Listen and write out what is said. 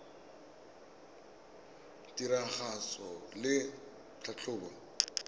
kelotlhoko ya tiragatso le tlhatlhobo